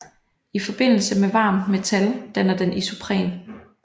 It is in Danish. I forbindelse med varmt metal danner den isopren